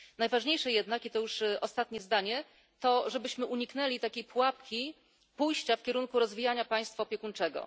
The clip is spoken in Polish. Najważniejsze jednak i to już ostatnie zdanie to żebyśmy uniknęli takiej pułapki pójścia w kierunku rozwijania państwa opiekuńczego.